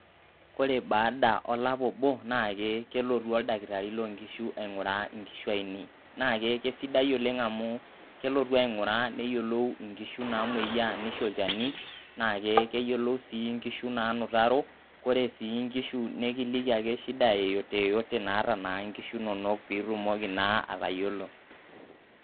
Kore baada olapa obo naake kelotu oldakitari lo nkishu aing'uraa inkishu ainei, naake kesidai amu kelotu aing'uraa neyolou nkishu namoyiaa nisho olchani naake keyolou sii nkishu naanutaro, kore sii nkishu nekiliki ake shida yeyote yeyote naata naa nkishu inonok piitumoki naa atayiolo.